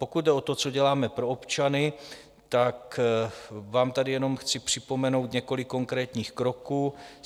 Pokud jde o to, co děláme pro občany, tak vám tady jenom chci připomenout několik konkrétních kroků.